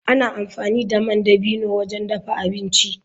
Ana amfani da man dabino wajen dafa abinci.